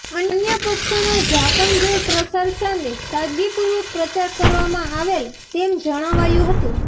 અન્ય પક્ષોના જાકમજોળ પ્રચાર સામે સાદગી પૂર્વક પ્રચાર કરવામાં આવેલ તેમ જણાવાયું હતું